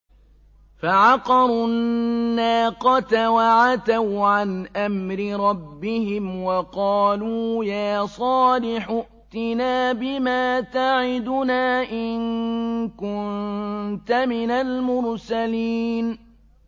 فَعَقَرُوا النَّاقَةَ وَعَتَوْا عَنْ أَمْرِ رَبِّهِمْ وَقَالُوا يَا صَالِحُ ائْتِنَا بِمَا تَعِدُنَا إِن كُنتَ مِنَ الْمُرْسَلِينَ